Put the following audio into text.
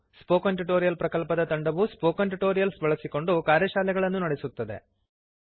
spoken tutorial ಪ್ರಕಲ್ಪದ ತಂಡವು spoken tutorials ಬಳಸಿಕೊಂಡು ಕಾರ್ಯಶಾಲೆಗಳನ್ನು ನಡೆಸುತ್ತದೆ